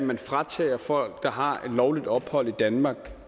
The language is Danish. man fratager folk der har lovligt ophold i danmark